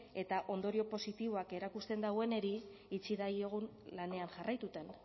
eta ondorio positiboak erakusten daueneri utzi daiogun lanean jarraituten